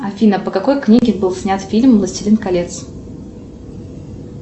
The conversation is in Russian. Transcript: афина по какой книге был снят фильм властелин колец